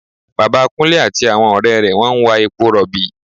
Bàbá Kúnlé àti àwọn ọ̀rẹ́ wọn ń wa epo rọ̀bì